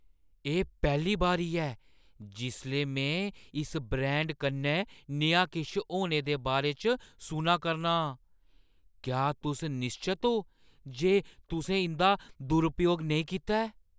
एह् पैह्‌ली बारी ऐ जिसलै में इस ब्रांड कन्नै नेहा किश होने दे बारे च सुना करना आं। क्या तुस निश्चत ओ जे तुसें इंʼदा दुरुपयोग नेईं कीता ऐ?